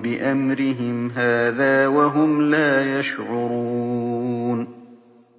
بِأَمْرِهِمْ هَٰذَا وَهُمْ لَا يَشْعُرُونَ